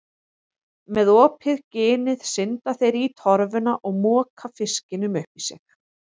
Með opið ginið synda þeir í torfuna og moka fiskinum upp í sig.